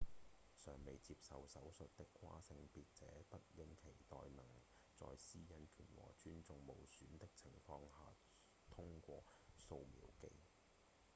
尚未接受手術的跨性別者不應期待能在隱私權和尊嚴無損的情況下通過掃描機